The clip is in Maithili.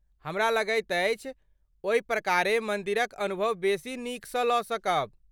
हमरा लगैत अछि ओहि प्रकारे मन्दिरक अनुभव बेसी नीकसँ लऽ सकब।